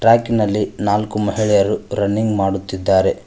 ಟ್ರ್ಯಾಕಿನಲ್ಲಿ ನಾಲ್ಕು ಮಹಿಳೆಯರು ರನ್ನಿಂಗ್ ಮಾಡುತ್ತಿದ್ದಾರೆ.